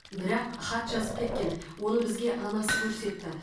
бірақ хат жазып кеткен оны бізге анасы көрсетті